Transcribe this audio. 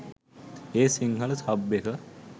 ඒත් සිංහල සබ් එක